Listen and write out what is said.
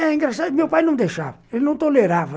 É, engraxate meu pai não deixava, ele não tolerava.